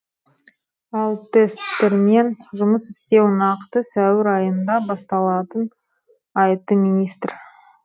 ал тесттермен жұмыс істеу нақты сәуір айында басталатын айтты министр